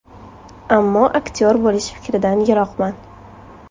Ammo aktyor bo‘lish fikridan yiroqman.